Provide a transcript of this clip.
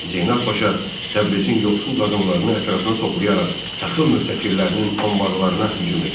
Zeynəb Paşa Təbrizin yoxsul qadınlarını ətrafına toplayaraq taxıl möhtəkirlərinin anbarlarına hücum etdi.